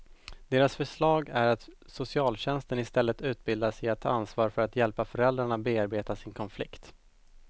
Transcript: Deras förslag är att socialtjänsten istället utbildas i att ta ansvar för att hjälpa föräldrarna bearbeta sin konflikt.